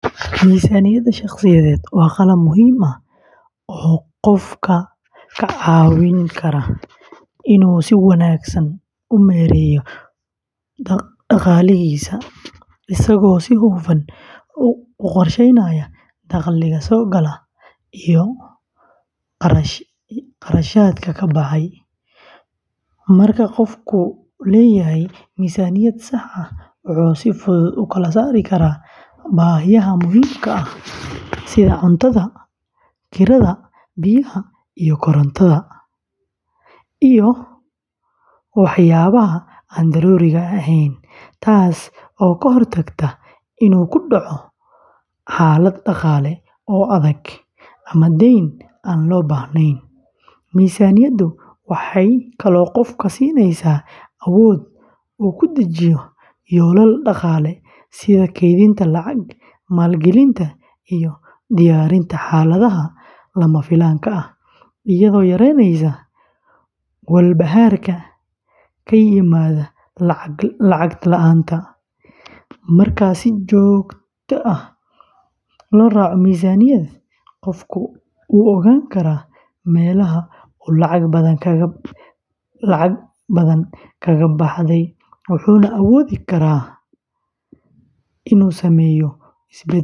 Miisaaniyadda shakhsiyeed waa qalab muhiim ah oo qofka ka caawin kara inuu si wanaagsan u maareeyo dhaqaalihiisa, isagoo si hufan u qorsheynaya dakhliga soo gala iyo kharashaadka ka baxaya. Marka qofku leeyahay miisaaniyad sax ah, wuxuu si fudud u kala saari karaa baahiyaha muhiimka ah sida cuntada, kirada, biyaha iyo korontada, iyo waxyaabaha aan daruuriga ahayn, taasoo ka hortagta inuu ku dhaco xaalado dhaqaale oo adag ama deyn aan loo baahnayn. Miisaaniyaddu waxay kaloo qofka siinaysaa awood uu ku dejiyo yoolal dhaqaale sida kaydinta lacag, maalgelinta, iyo diyaarinta xaaladaha lama filaanka ah, iyadoo yareyneysa walbahaarka ka yimaada lacagta la’aanta. Marka si joogto ah loo raaco miisaaniyad, qofku wuu ogaan karaa meelaha uu lacag badan kaga baxay, wuxuuna awoodi karaa inuu sameeyo isbeddello.